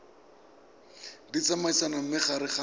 di tsamaisa mo gare ga